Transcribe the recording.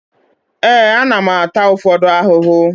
Ee, ana m ata ụfọdụ ahụhụ